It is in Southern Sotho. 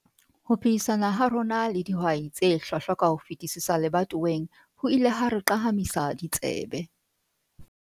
Ho phehisana ha rona le dihwai tse hlwahlwa ka ho fetisisa lebatoweng ho ile ha re qahamisa ditsebe.